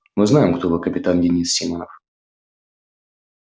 мы знаем кто вы капитан денис симонов